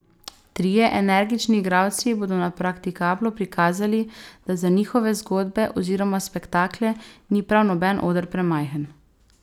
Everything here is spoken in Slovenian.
Trije energični igralci bodo na praktikablu prikazali, da za njihove zgodbe oziroma spektakle ni prav noben oder premajhen.